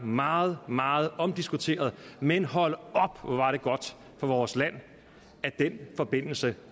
meget meget omdiskuteret men hold op hvor var det godt for vores land at den forbindelse